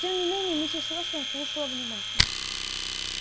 тем не менее миссис вестон слушала внимательно